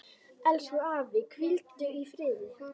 Elsku afi, hvíldu í friði.